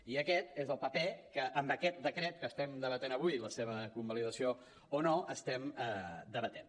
i aquest és el paper que amb aquest decret que estem debatent avui la seva convalidació o no estem debatent